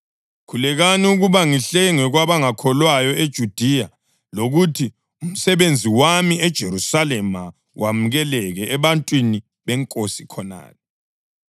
Khulekelani ukuba ngihlengwe kwabangakholwayo eJudiya lokuthi umsebenzi wami eJerusalema wamukeleke ebantwini beNkosi khonale,